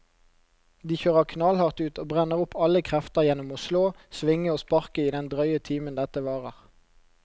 De kjører knallhardt ut og brenner opp alle krefter gjennom å slå, svinge og sparke i den drøye timen dette varer.